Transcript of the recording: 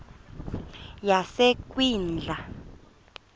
yasekwindla